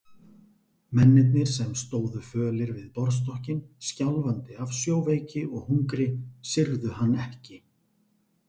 Mennirnir sem stóðu fölir við borðstokkinn, skjálfandi af sjóveiki og hungri, syrgðu hann ekki.